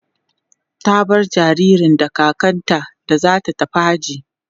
ta bar jinjirin da kakanta da zata tafi hajji